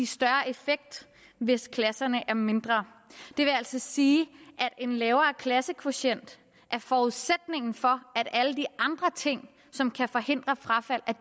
større effekt hvis klasserne er mindre det vil altså sige at en lavere klassekvotient er forudsætningen for at alle de andre ting som kan forhindre frafald